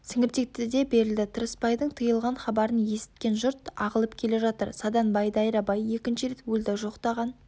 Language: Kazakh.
сіңіртектіде берілді тырыспайдың тиылған хабарын есіткен жұрт ағылып келе жатыр саданбай дайрабай екінші рет өлді жоқтаған